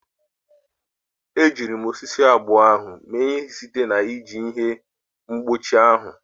Ejiri m osisi abụọ ahụ mee ihe site na iji ihe mgbochi ahụ.